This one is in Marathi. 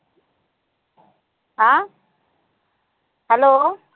अं hello